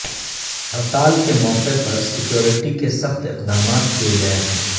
ہڑتال کے موقع پر سکیورٹی کے سخت اقدامات کیئے گئے ہیں